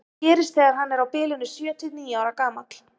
það gerist þegar hann er á bilinu sjö til níu ára gamall